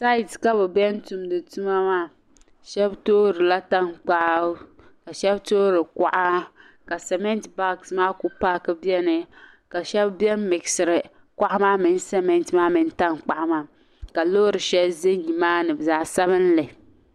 Tight ka bi ben tumdi tuma maa shab toori la tankpaɣu ka shab toori kuɣa ka cement bags ku paaki beni ka shabi beni n miɣisiri koŋa maa mini cement maa mini tankpaɣukaa loori shɛli za nimaani zaɣ' sabinli